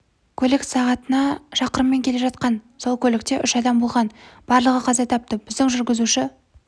көлік сағатына шақырыммен келе жатқан сол көлікте үш адам болған барлығы қаза тапты біздің жүргізуші